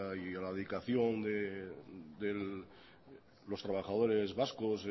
y a la dedicación de los trabajadores vascos